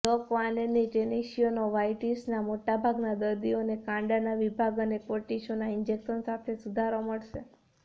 દ કવાવેનની ટેનોસિયોનોવાઇટિસના મોટાભાગના દર્દીઓને કાંડાના વિભાજન અને કોર્ટિસોન ઈન્જેક્શન સાથે સુધારો મળશે